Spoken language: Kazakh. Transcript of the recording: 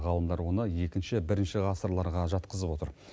ғалымдар оны екінші бірінші ғасырларға жатқызып отыр